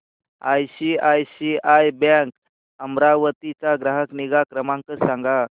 ICICI bank Amravati चा ग्राहक निगा क्रमांक सांगा